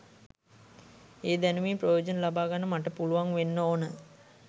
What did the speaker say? ඒ දැනුමින් ප්‍රයෝජන ලබාගන්න මට පුළුවන් වෙන්න ඕන